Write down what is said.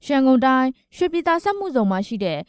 ရန်ကုန်တိုင်း ရွှေပြည်သာစက်မှုဇုန်မှာရှိတဲ့